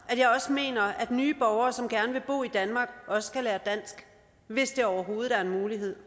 at jeg også mener at nye borgere som gerne vil bo i danmark også skal lære dansk hvis der overhovedet er mulighed